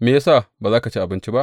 Me ya sa ba za ka ci abinci ba?